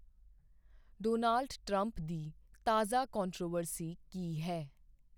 Donald Trump ਦੀ ਤਾਜ਼ਾ controversy ਕੀ ਹੈ?